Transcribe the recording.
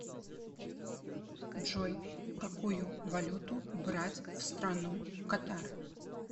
джой какую валюту брать в страну катар